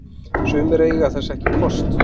Sumir eiga þess ekki kost